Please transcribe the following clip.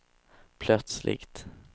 plötsligt